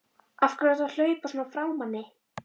AF HVERJU ERTU AÐ HLAUPA SVONA FRÁ MANNI!